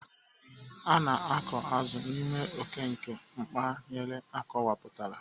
A na-akọ azụ n'ime oke nke mpaghara akọwapụtara.